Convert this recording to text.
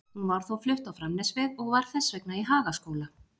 Hún var þó flutt á Framnesveg og var þess vegna í Hagaskóla.